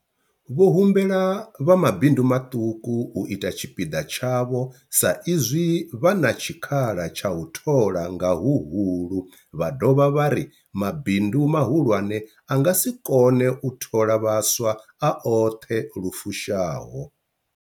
Vho humbela vha mabindu maṱuku u ita tshipiḓa tshavho sa izwi vha na tshikhala tsha u thola nga huhulu, vha dovha vha ri mabindu mahulwane a nga si kone u thola vhaswa a oṱhe lu fushaho.